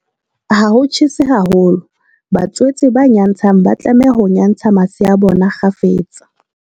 Ha ho tjhese haholo, batswetse ba nyantshang ba tlameha ho nyantsha masea a bona kgafetsa.